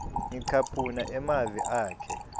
ngicaphuna emavi akhe